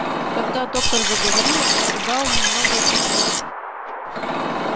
когда доктор заговорил зал немного притих